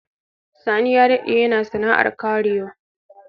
Sani ya dade yana sana'ar kerawa.